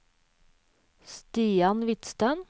Stian Hvidsten